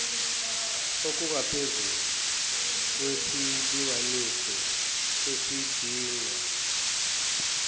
okungaphezulu kwesilinganiso esidingwa